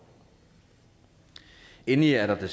endelig er der